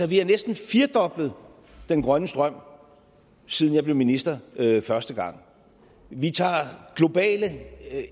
vi har næsten firedoblet den grønne strøm siden jeg blev minister første gang vi tager globale